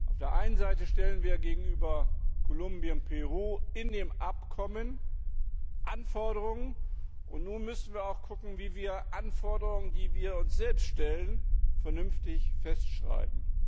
Auf der einen Seite stellen wir gegenüber Kolumbien und Peru in dem Abkommen Anforderungen, und nun müssen wir auch sehen, wie wir Anforderungen, die wir an uns selbst stellen, vernünftig festschreiben.